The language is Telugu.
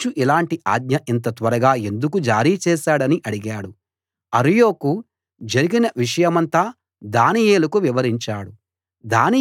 రాజు ఇలాంటి ఆజ్ఞ ఇంత త్వరగా ఎందుకు జారీ చేశాడని అడిగాడు అర్యోకు జరిగిన విషయమంతా దానియేలుకు వివరించాడు